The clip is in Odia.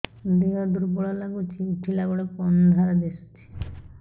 ଦେହ ଦୁର୍ବଳ ଲାଗୁଛି ଉଠିଲା ବେଳକୁ ଅନ୍ଧାର ଦିଶୁଚି